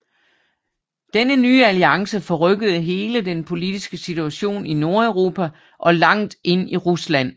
Denne nye alliance forrykkede hele den politiske situation i Nordeuropa og langt ind i Rusland